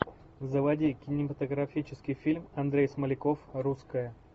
заводи кинематографический фильм андрей смоляков русская